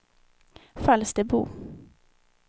Falsterbo